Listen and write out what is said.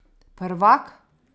Prvak?